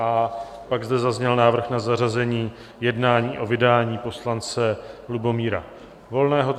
A pak zde zazněl návrh na zařazení jednání o vydání poslance Lubomíra Volného.